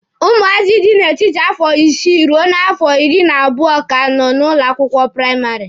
Ụmụazị dị n'etiti afọ isii ruo afọ iri na abụọ ka nọ n'ụlọ akwụkwọ praịmarị.